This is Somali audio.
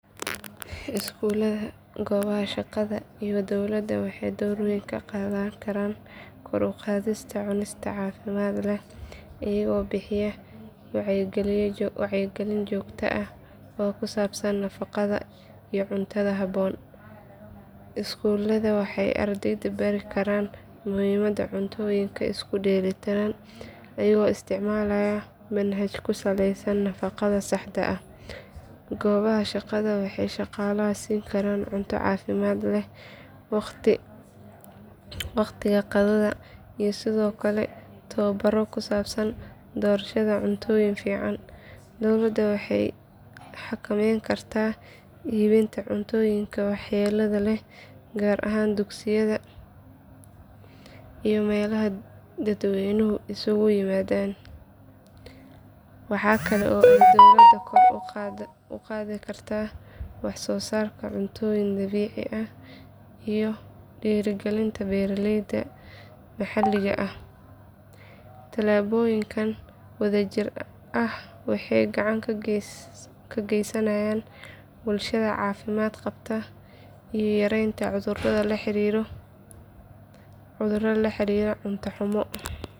Iskuulada goobaha shaqada iyo dowladda waxay door weyn ka qaadan karaan kor u qaadista cunista caafimaad leh iyagoo bixiya wacyigelin joogto ah oo ku saabsan nafaqada iyo cuntada habboon. Iskuuladu waxay ardayda bari karaan muhiimadda cuntooyinka isku dheellitiran iyagoo isticmaalaya manhaj ku saleysan nafaqada saxda ah. Goobaha shaqada waxay shaqaalaha siin karaan cunno caafimaad leh waqtiga qadada iyo sidoo kale tababaro ku saabsan doorashada cuntooyin fiican. Dowladda waxay xakamayn kartaa iibinta cuntooyinka waxyeellada leh gaar ahaan dugsiyada iyo meelaha dadweynuhu isugu yimaado. Waxa kale oo ay dowladda kor u qaadi kartaa wax soo saarka cuntooyin dabiici ah iyo dhiirrigelinta beeraleyda maxalliga ah. Tallaabooyinkan wadajir ah waxay gacan ka geysanayaan bulshada caafimaad qabta iyo yareynta cudurrada la xiriira cunto xumo.